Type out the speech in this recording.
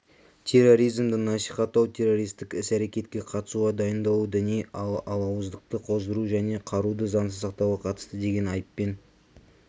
терроризмді насихаттау террористік іс-әрекетке қатысуға дайындалу діни алауыздықты қоздыру және қаруды заңсыз сақтауға қатысты деген айыппен